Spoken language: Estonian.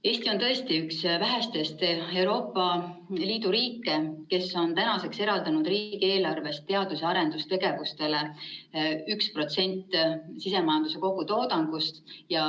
Eesti on tõesti üks väheseid Euroopa Liidu riike, kes on tänaseks eraldanud riigieelarvest teadus‑ ja arendustegevusele 1% sisemajanduse kogutoodangust.